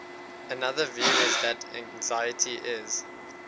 another view is that anxiety is